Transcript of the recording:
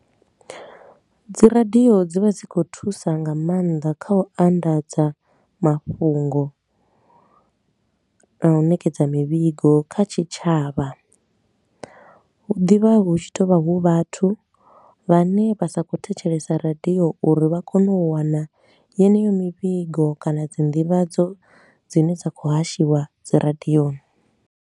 Dzi radio dzi vha dzi khou thusa nga maanḓa kha u anḓadza mafhungo na u nekedza mivhigo kha tshitshavha. Hu ḓivha hu tshi tou vha hu vhathu vhane vha sa khou thetshelesa radio uri vha kone u wana yeneyo mivhigo kana dzi ndivhadzo dzine dza khou hashiwe dzi radioni.